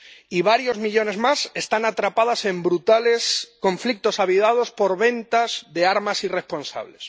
Y varios millones más están atrapadas en brutales conflictos avivados por ventas de armas irresponsables.